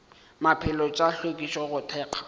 maphelo tša hlwekišo go thekga